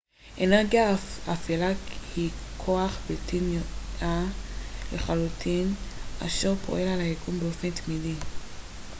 אנרגיה אפלה היא כוח בלתי נראה לחלוטין אשר פועל על היקום באופן תמידי